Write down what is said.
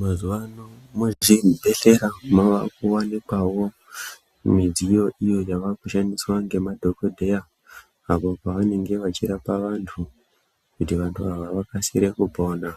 Mazuvano muzvibhedhlera makuwanikwa midziyo iyo yava kushandiswa ngemadhokodheya apo pavanenge vachirapa vantu kuti vantu ava vakasikire kupona,